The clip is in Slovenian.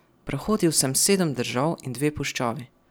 Prehodil sem sedem držav in dve puščavi.